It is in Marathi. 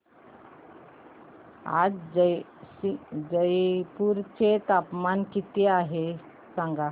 आज जयपूर चे तापमान किती आहे सांगा